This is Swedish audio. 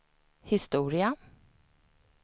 historia